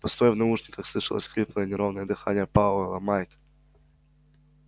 постой в наушниках слышалось хриплое неровное дыхание пауэлла майк